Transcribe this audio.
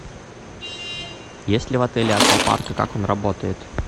есть ли в отеле аквапарк и как он работает